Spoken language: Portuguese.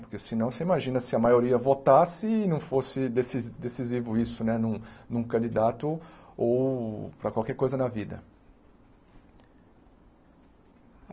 Porque senão, você imagina se a maioria votasse e não fosse deci decisivo isso num num candidato ou para qualquer coisa na vida.